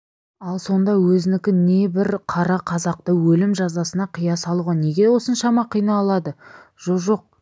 ал сонда өзінікі не бір қара қазақты өлім жазасына қия салуға неге осыншама қиналады жоқ жоқ